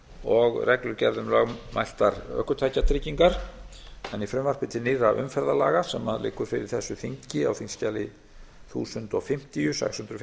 og reglugerð um lögmæltar ökutækjatryggingar en í frumvarpi til nýrra umferðarlaga sem liggur fyrir þessu þingi á þingskjali þúsund fimmtíu sex hundruð